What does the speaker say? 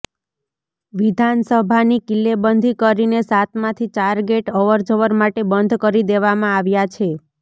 વિધાનસભાની કિલ્લેબંધી કરીને સાતમાંથી ચાર ગેટ અવર જવર માટે બંધ કરી દેવામાં આવ્યા છે